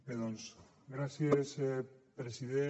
bé doncs gràcies president